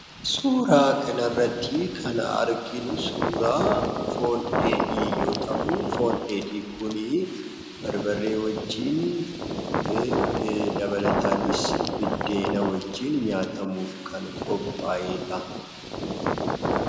Suuraa kana irratti ,kan arginu, suuraa foon dheedhii yoo ta'u, foon dheedhii kun, barbaree wajjin, dabalatanis, biddeena wajjin nyaatamuuf kan qopha'eedha.